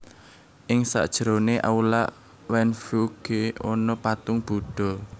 Ing sajerone aula Wanfuge ana patung budha